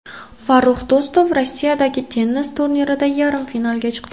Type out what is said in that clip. Farrux Do‘stov Rossiyadagi tennis turnirida yarim finalga chiqdi.